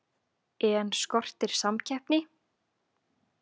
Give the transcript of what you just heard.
En skortir samkeppni?